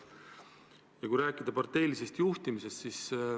Aga räägime parteilisest juhtimisest.